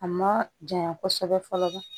A ma janya kosɛbɛ fɔlɔ